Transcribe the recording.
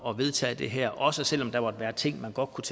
at vedtage det her også selv om der måtte være ting man godt kunne